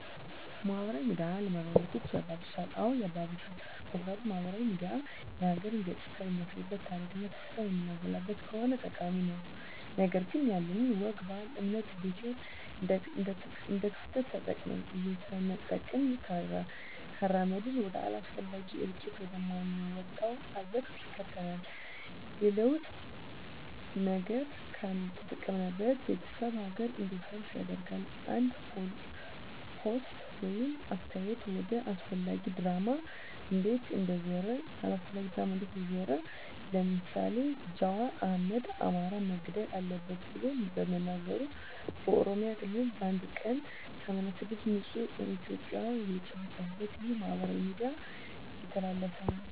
ማህበራዊ ሚዲያ አለመግባባቶችን ያባብሳል? አዎ ያባብሳል ምክንያቱም ማህበራዊ ሚዲያ የሀገርን ገፅታ የምናሳይበት ታሪክና ትውፊቷን የምናጎላበት ከሆነ ጠቃሚ ነው ነገር ግን ያለንን ወግ ባህል እምነት ብሔር እንደክፍተት ተጠቅመን እየሰነጠቅን ካራመድነው ወደ አላስፈላጊ እልቂት ወደ ማንወጣው አዘቅት ይከተናል የለጥሩ ነገር ካልተጠቀምንበት ቤተሰብ ሀገር እንዲፈርስ ያደርጋል አንድ ፖስት ወይም አስተያየት ወደ አላስፈላጊ ድራማ እንዴት እንደዞረ ለምሳሌ ጃዋር አህመድ አማራ መገደል አለበት ብሎ በመናገሩ በኦሮሚያ ክልል በአንድ ቀን 86 ንፁህ እትዮጵያን የተጨፈጨፉበት ይህ በማህበራዊ ሚዲያ የተላለፈ ነው